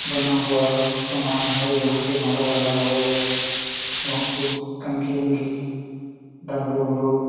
बना हुआ सामान है यहाँ पे माला-वाला और बहोत कुछ कंघी-उंघी डमरू-उमरु --